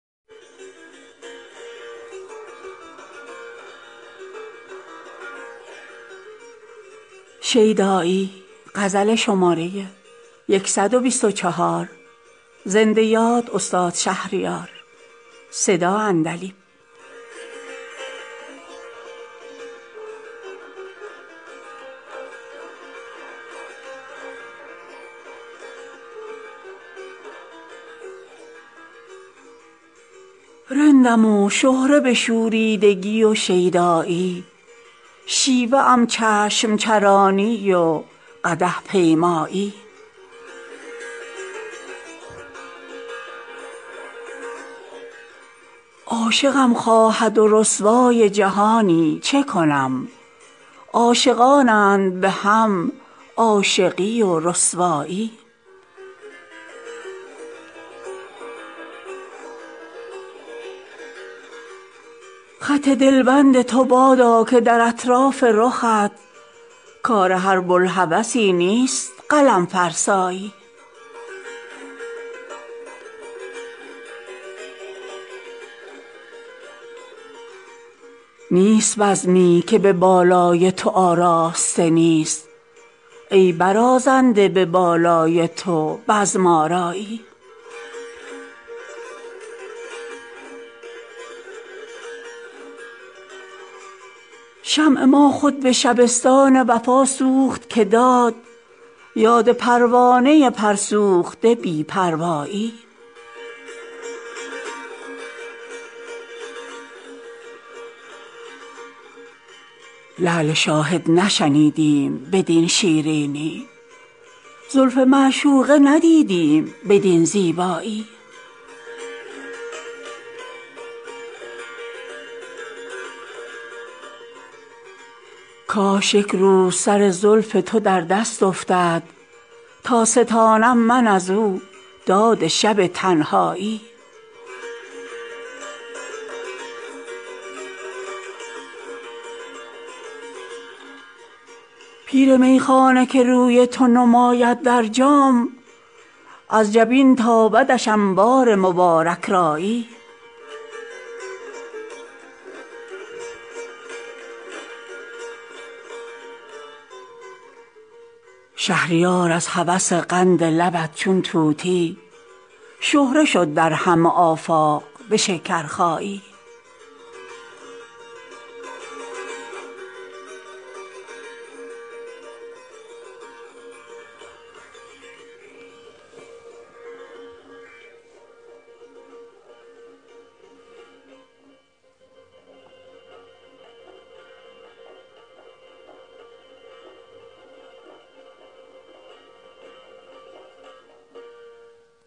رندم و شهره به شوریدگی و شیدایی شیوه ام چشم چرانی و قدح پیمایی عاشقم خواهد و رسوای جهانی چه کنم عاشقانند به هم عاشقی و رسوایی خط دلبند تو بادا که در اطراف رخت کار هر بوالهوسی نیست قلم فرسایی نیست بزمی که به بالای تو آراسته نیست ای برازنده به بالای تو بزم آرایی شمع ما خود به شبستان وفا سوخت که داد یاد پروانه پر سوخته بی پروایی دیر گاهی ست که دیگر نکند یاد وطن در سر زلف پریش تو دل هرجایی لعل شاهد نشنیدیم بدین شیرینی زلف معشوقه ندیدیم بدین زیبایی کاش یک روز سر زلف تو در دست افتد تا ستانم من از او داد شب تنهایی خون مینا بخور و بشکنش از سنگ که من سنگ ها خورده ام از این فلک مینایی پیر میخانه که روی تو نماید در جام از جبین تابدش انوار مبارک رایی شهریار از هوس قند لبت چون طوطی شهره شد در همه آفاق به شکرخایی